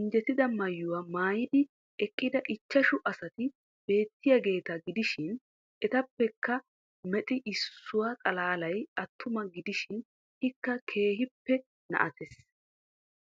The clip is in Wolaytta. injjetida maayuwa maayidi eqqida ichchashu asati beettiyageeta gidishin etappekka mexi issuwa xalaalay attuma gidishin Ikka keehippe na"atees